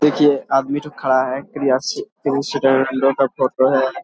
देखिए आदमी थो खड़ा है का फोटो है।